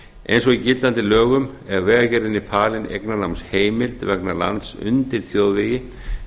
eins og í gildandi lögum er vegagerðinni falin eignarnámsheimild vegna lands undir þjóðvegi